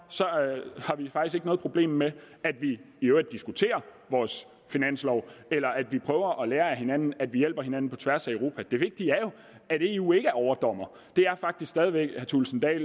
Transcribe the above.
har vi faktisk ikke noget problem med at vi i øvrigt diskuterer vores finanslov eller at vi prøver at lære af hinanden at vi hjælper hinanden på tværs af europa det vigtige er jo at eu ikke er overdommer det er faktisk stadig væk herre thulesen dahl